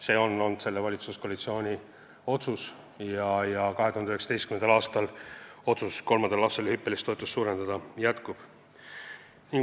See on olnud selle valitsuskoalitsiooni otsus ja 2019. aastal jätkub kolmanda lapse toetuse hüppeline suurendamine.